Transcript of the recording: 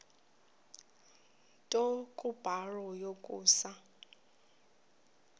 nto kubarrow yokusa